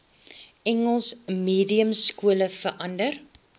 engels mediumskole verander